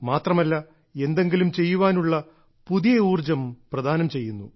മാത്രമല്ല എന്തെങ്കിലും ചെയ്യുവാനുള്ള പുതിയ ഊർജ്ജം പ്രദാനം ചെയ്യുന്നു